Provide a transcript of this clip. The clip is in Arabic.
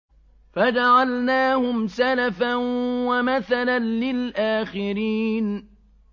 فَجَعَلْنَاهُمْ سَلَفًا وَمَثَلًا لِّلْآخِرِينَ